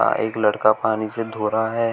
एक लड़का पानी से धो रहा है।